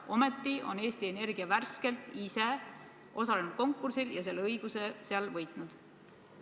Ometi on Eesti Energia värskelt ise osalenud konkursil ja selle õiguse endale võitnud.